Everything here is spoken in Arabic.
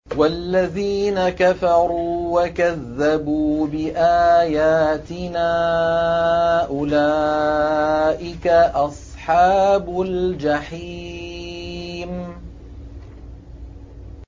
وَالَّذِينَ كَفَرُوا وَكَذَّبُوا بِآيَاتِنَا أُولَٰئِكَ أَصْحَابُ الْجَحِيمِ